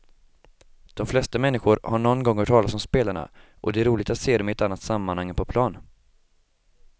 De flesta människor har någon gång hört talas om spelarna och det är roligt att se dem i ett annat sammanhang än på plan.